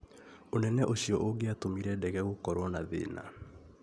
Unene ucio ungĩatũmire ndege gukorwo na thĩna